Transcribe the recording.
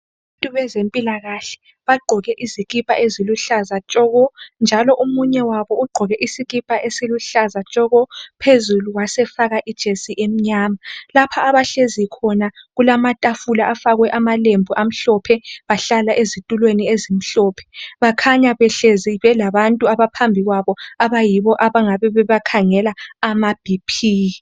Abantu bezempilakahle bagqoke izikipa eziluhlaza tshoko njalo omunye wabo ugqoke isikipha esiluhlaza tshoko phezulu wasefaka ijesi emnyama lapha abahlezi khona kulamatafula afakwe akwe amalembu amhlophe bahlala ezituleni ezimhlophe bakhanya behlezi belabantu abaphambi kwabo abayibo abangabe beba abakhangela amaBp